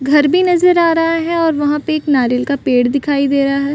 घर भी नजर आ रहा है और वहाँ पे एक नारियल का पेड़ दिखाई दे रहा है।